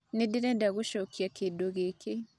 Nĩ ndĩrenda gũcokia kĩndũ gĩkĩ